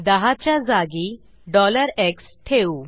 10 च्या जागी x ठेऊ